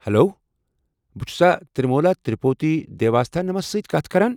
Hello! بہٕ چھُسا تِرٛموٗلا تِروُپتی دیواستھانمس سۭتۍ کتھ کران؟